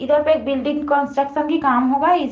इधर पे एक बिल्डिंग कंस्ट्रक्शन की काम होगा इस --